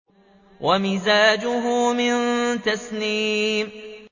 وَمِزَاجُهُ مِن تَسْنِيمٍ